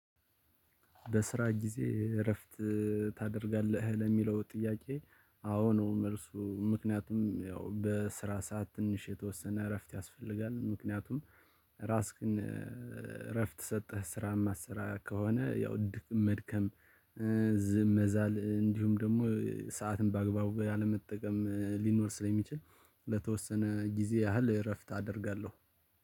በስራ ጊዜ እረፍት ታደርጋለህ? ለሚለው ጥያቄ አዎ ነው መልሱ ምክንያቱም ያው በስራ ሰዓት ትንሽ የተወሰነ እረፍት ያስፈልጋል። ምክንያቱም ራስ ግን እረፍት ሰጠህ ስራም አሰራ ከሆነ ያው ድክም መድከም ዝም መዛል እንዲሁም ደግሞ ሰዓትን በአግባቡ ያለመጠቀም ሊኖር ስለሚችል ለተወሰነ ጊዜ ያህል እረፍት አደርጋለሁ።